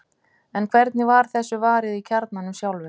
en hvernig var þessu varið í kjarnanum sjálfum